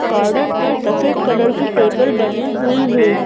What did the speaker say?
Garden में सफेद colour की टेबल बनी हुई है।